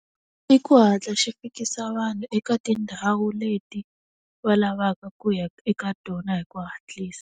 I ku hatla xi fikisa vanhu eka tindhawu leti, va lavaka ku ya eka tona hi ku hatlisa.